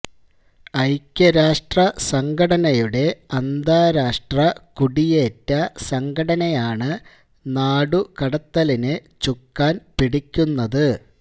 ഐക്യരാഷ്ട്ര സംഘടനയുടെ അന്താരാഷ്ട്ര കുടിയേറ്റ സംഘടനയാണ് നാടുകടത്തലിന് ചുക്കാന് പിടിക്കുന്നത്